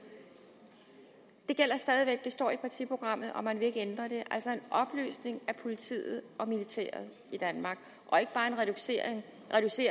det gælder stadig væk det står i partiprogrammet og man vil ikke ændre det altså en opløsning af politiet og militæret i danmark og ikke bare en reducering